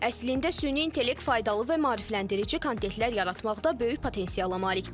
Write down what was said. Əslində süni intellekt faydalı və maarifləndirici kontentlər yaratmaqda böyük potensiala malikdir.